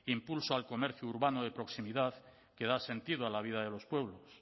impulso al comercio urbano de proximidad que da sentido a la vida de los pueblos